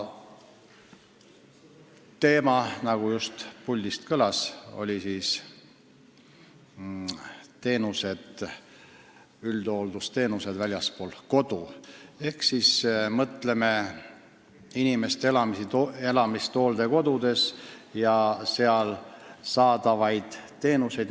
Teema on, nagu just puldist kõlas, üldhooldusteenused väljaspool kodu, st mõtleme inimeste elamist hooldekodudes ja seal saadavaid teenuseid.